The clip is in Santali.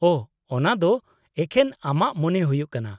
ᱳᱷᱚ, ᱚᱱᱟᱫᱚ ᱮᱠᱷᱮᱱ ᱟᱢᱟᱜ ᱢᱚᱱᱮ ᱦᱩᱭᱩᱜ ᱠᱟᱱᱟ ᱾